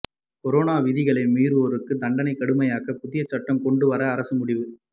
corona விதிகளை மீறுவோருக்கு தண்டனையை கடுமையாக்க புதிய சட்டம் கொண்டு வர அரசு முடிவு